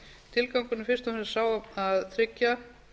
tilgangurinn er fyrst og fremst sá að tryggja